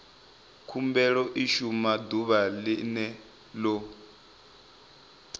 khumbelo i shumiwa ḓuvha ḽene ḽo